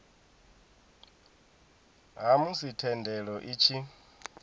ha musi thendelo i tshi